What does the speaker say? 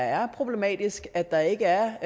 er problematisk at der ikke er